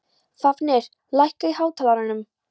Fáfnir, lækkaðu í hátalaranum.